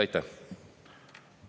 Aitäh!